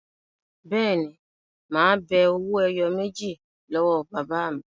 Bẹ́ẹ̀ ni, mà á be owó ẹyọ méjì lọ́wọ́ bàbá mi.